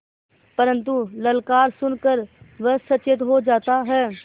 परन्तु ललकार सुन कर वह सचेत हो जाता है